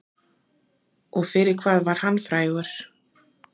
Og fyrir hvað var hann frægur?